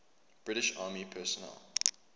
british army personnel